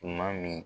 Tuma min